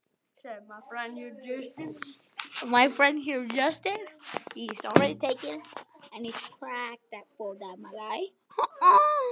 Mér er óbærilegt að þjóna hér.